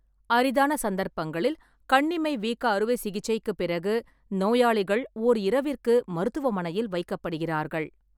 அரிதான சந்தர்ப்பங்களில், கண்ணிமை வீக்க அறுவை சிகிச்சைக்குப் பிறகு நோயாளிகள் ஓர் இரவிற்கு மருத்துவமனையில் வைக்கப்படுகிறார்கள்.